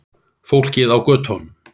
Fólkið á götunum.